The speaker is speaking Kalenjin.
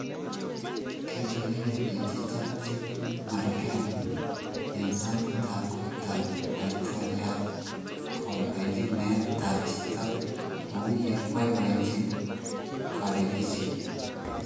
Kiituyoge piik che chang' chemi Marekani eng sanguut ab kot ab laitoryat kobaibanji meet ap chito kou ye boiboinjin kawelisyet .